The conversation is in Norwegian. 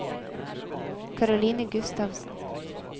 Karoline Gustavsen